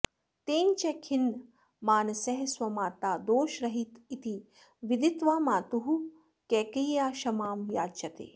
तेन च खिन्नमानसः स्वमाता दोषरहितेति विदित्वा मातुः कैकेय्याः क्षमां याचते